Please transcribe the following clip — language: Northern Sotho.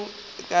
re le ge o ka